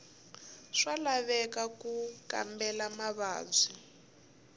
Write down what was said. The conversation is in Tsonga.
swa laveka ku kambela mavabyi